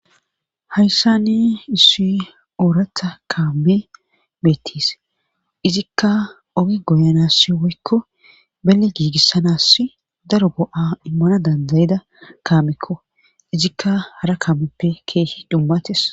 Hayssani issu oorata kaame beettiis izikka ogi goyanassi woykko bele giigissanass daro go'a immana dandayida kaamekko izikka hara kaammeppe keehi dummates.